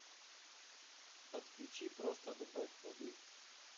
подключи просто добавь воды